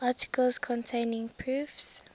articles containing proofs